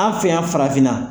An' fe yan farafinna